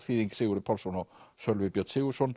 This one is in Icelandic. þýðing Sigurður Pálsson og Sölvi Björn Sigurðsson